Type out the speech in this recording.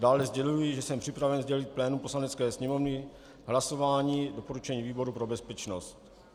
Dále sděluji, že jsem připraven sdělit plénu Poslanecké sněmovny hlasování doporučení výboru pro bezpečnost.